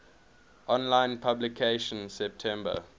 online publication september